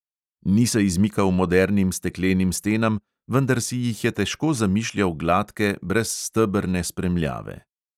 Ni se izmikal modernim steklenim stenam, vendar si jih je težko zamišljal gladke, brez stebrne spremljave.